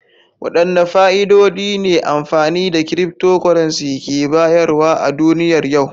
Wadanne fa'idodi ne amfani da cryptocurrency ke bayarwa a duniyar yau?